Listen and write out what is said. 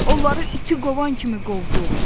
Onları iti qovan kimi qovduq.